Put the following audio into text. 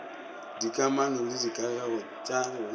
dikamano le dikagego tpa go